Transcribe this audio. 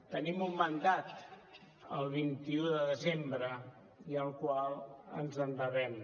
tenim un mandat el vint un de desembre i al qual ens devem